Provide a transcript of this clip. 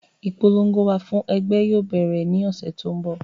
Ipolongo wà fún ẹgbẹ́ yóò bẹ̀rẹ̀ ní ọ́sẹ́ tó ń bọ̀